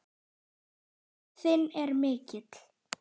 Missir þinn er mikill.